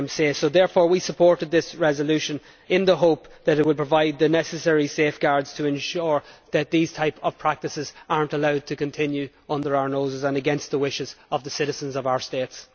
So therefore we supported this resolution in the hope that it would provide the necessary safeguards to ensure that these types of practices are not allowed to continue under our noses and against the wishes of the citizens of our states.